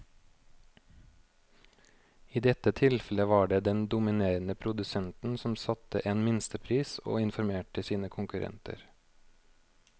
I dette tilfellet var det den dominerende produsenten som satte en minstepris og informerte sine konkurrenter.